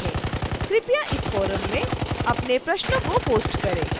कृपया इस फोरम में अपने प्रश्नों को पोस्ट करें